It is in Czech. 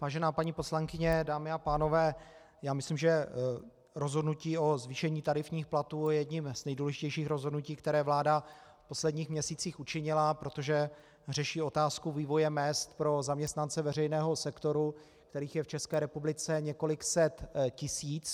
Vážená paní poslankyně, dámy a pánové, já myslím, že rozhodnutí o zvýšení tarifních platů je jedním z nejdůležitějších rozhodnutí, které vláda v posledních měsících učinila, protože řeší otázku vývoje mezd pro zaměstnance veřejného sektoru, kterých je v České republice několik set tisíc.